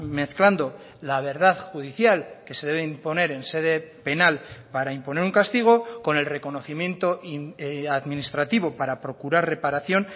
mezclando la verdad judicial que se debe imponer en sede penal para imponer un castigo con el reconocimiento administrativo para procurar reparación